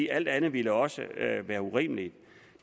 alt andet ville også være urimeligt